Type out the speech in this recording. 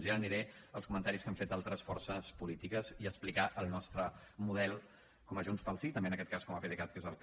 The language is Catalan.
i ara aniré als comentaris que han fet altres forces polítiques i a explicar el nostre model com a junts pel sí també en aquest cas com a pdecat que és el que